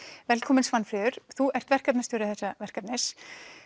velkomin Svanfríður þú ert verkefnastjóri þessa verkefnis